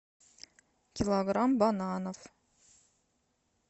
килограмм бананов